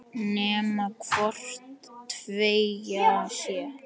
Nema hvort tveggja sé.